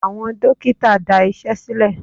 Àwọn dókítà dá Iṣẹ́ sílè.